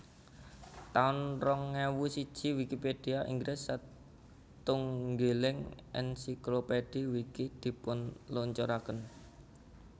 taun rong ewu siji Wikipedia Inggris satunggiling ensiklopedhi Wiki dipunluncuraken